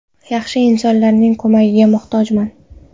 Yaxshi insonlarning ko‘magiga muhtojman.